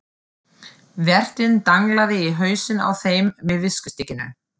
Vertinn danglaði í hausinn á þeim með viskustykkinu.